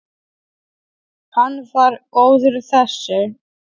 Hann var góður þessi.